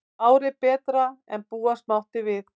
Árið betra en búast mátti við